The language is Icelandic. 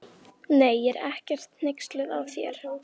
Nei, ég er ekkert hneyksluð á þér.